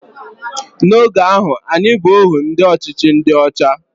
N'oge ahụ, anyị bụ ohu ndị ọchịchị ndị ọcha